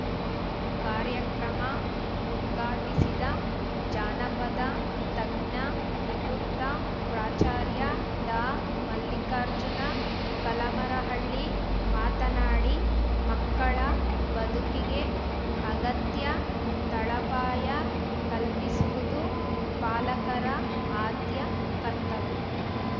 ಕಾರ್ಯಕ್ರಮ ಉದ್ಘಾಟಿಸಿದ ಜಾನಪದ ತಜ್ಞ ನಿವೃತ್ತ ಪ್ರಾಚಾರ್ಯ ಡಾಮಲ್ಲಿಕಾರ್ಜುನ ಕಲಮರಹಳ್ಳಿ ಮಾತನಾಡಿ ಮಕ್ಕಳ ಬದುಕಿಗೆ ಅಗತ್ಯ ತಳಪಾಯ ಕಲ್ಪಿಸುವುದು ಪಾಲಕರ ಆದ್ಯ ಕರ್ತವ್ಯ